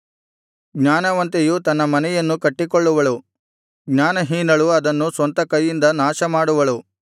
ಜ್ಞಾನವಂತೆಯು ತನ್ನ ಮನೆಯನ್ನು ಕಟ್ಟಿಕೊಳ್ಳುವಳು ಜ್ಞಾನಹೀನಳು ಅದನ್ನು ಸ್ವಂತ ಕೈಯಿಂದ ನಾಶಮಾಡುವಳು